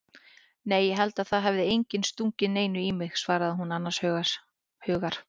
Nei ég held að það hafi enginn stungið neinu í mig, svarar hún annars hugar.